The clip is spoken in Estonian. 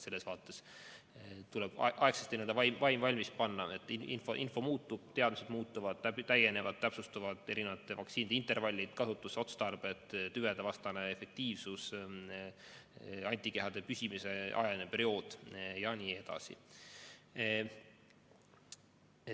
Selles vaates tuleb aegsasti vaim valmis panna, et info muutub, teadmised muutuvad ja täienevad, et täpsustuvad erinevate vaktsiinide intervallid, kasutusotstarbed, tüvedevastane efektiivsus, antikehade püsimise aeg jne.